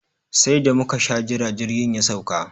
Sai da muka sha jira jirgin ya sauka.